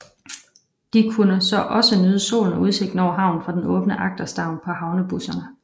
De kunne så også nyde solen og udsigten over havnen fra den åbne agterstavn på havnebusserne